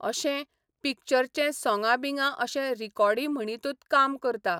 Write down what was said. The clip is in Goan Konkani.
अशें, पिक्चरचें सोंगां बिंगां अशें रिकॉडी म्हणितूत काम करता.